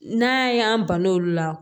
N'a y'an balo olu la